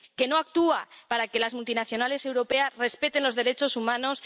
que no actúa para que las multinacionales europeas respeten los derechos humanos